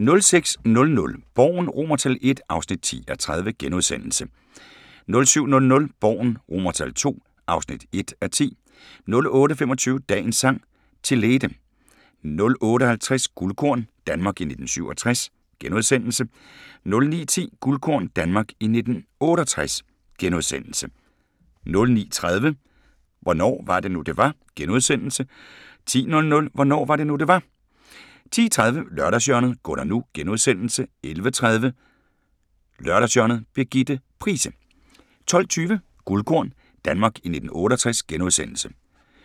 06:00: Borgen I (10:30)* 07:00: Borgen II (1:10) 08:25: Dagens Sang: Chelete 08:50: Guldkorn – Danmark i 1967 * 09:10: Guldkorn – Danmark i 1968 * 09:30: Hvornår var det nu, det var? * 10:00: Hvornår var det nu, det var? 10:30: Lørdagshjørnet - Gunnar NU * 11:30: Lørdagshjørnet – Birgitte Price 12:20: Guldkorn – Danmark i 1968 *